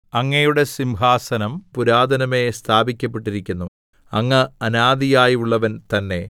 അങ്ങയുടെ സിംഹാസനം പുരാതനമേ സ്ഥാപിക്കപ്പെട്ടിരിക്കുന്നു അങ്ങ് അനാദിയായുള്ളവൻ തന്നെ